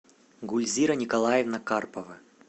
гульзира николаевна карпова